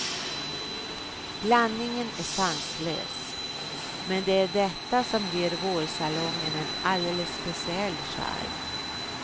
Blandningen är sanslös, men det är detta som ger vårsalongen en alldeles speciell charm.